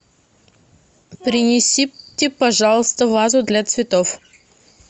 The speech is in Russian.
принесите пожалуйста вазу для цветов